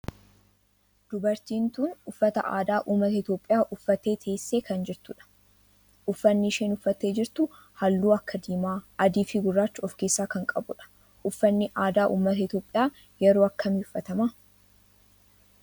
Dubartiin tun uffata aadaa ummata Itiyoophiyaa uffattee teessee kan jirtudha. uffanni isheen uffatte jirtu halluu akka diimaa, adii fi gurraacha of keessaa kan qabudha. uffanni aadaa ummata Itiyoophiyaa yeroo akkamii uffatama?